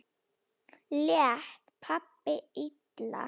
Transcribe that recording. Lét pabbi illa?